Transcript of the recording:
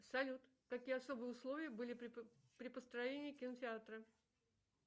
салют какие особые условия были при построении кинотеатра